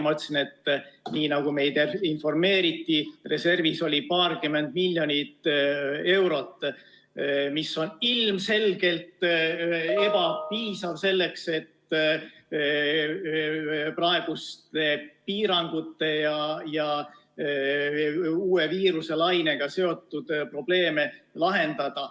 Ma ütlesin, et nii nagu meid informeeriti, reservis oli paarkümmend miljonit eurot, mis on ilmselgelt ebapiisav selleks, et praeguste piirangute ja uue viiruselainega seotud probleeme lahendada.